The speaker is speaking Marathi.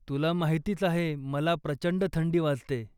तुला माहितीच आहे मला प्रचंड थंडी वाजते.